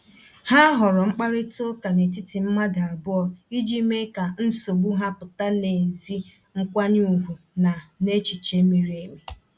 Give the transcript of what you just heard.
Ha họọrọ mkparịta ụka n’etiti mmadụ abụọ iji mee ka nsogbu ha pụta n’ezi nkwanye ùgwù na n’echiche miri emi.